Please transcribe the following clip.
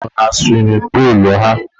Nwa ha nwụrụ na suwimin puulu ha.